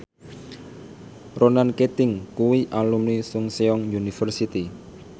Ronan Keating kuwi alumni Chungceong University